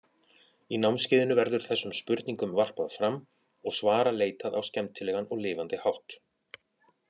Í námskeiðinu verður þessu spurningum varpað fram og svara leitað á skemmtilegan og lifandi hátt.